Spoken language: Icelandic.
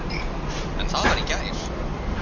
En það var í gær.